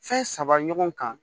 Fɛn saba ɲɔgɔn kan